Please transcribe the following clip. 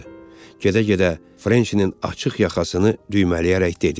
Gedə-gedə Frençinin açıq yaxasını düymələyərək dedi: